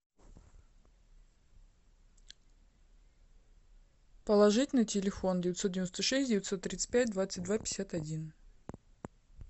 положить на телефон девятьсот девяносто шесть девятьсот тридцать пять двадцать два пятьдесят один